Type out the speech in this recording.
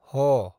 ह